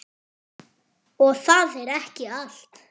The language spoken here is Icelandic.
Og það er ekki allt.